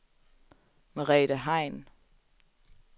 Merete Hein